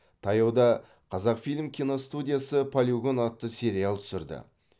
таяуда қазақфильм киностудиясы полигон атты сериал түсірді